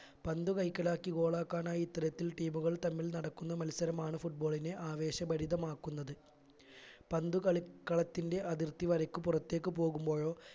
പന്തു കൈക്കലാക്കി goal ആക്കാനായി ഇത്തരത്തിൽ team മുകൾ തമ്മിൽ നടക്കുന്ന മത്സരമാണ് football ആവേശഭരിതമാക്കുന്നത് പന്തു കളിക്കളത്തിന്റെ അതിർത്തി വരയ്ക്ക് പുറത്തേക്ക് പോകുമ്പോഴോ